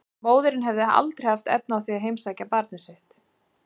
Móðirin hefði aldrei haft efni á því að heimsækja barnið sitt.